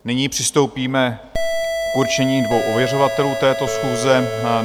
Nyní přistoupíme k určení dvou ověřovatelů této schůze.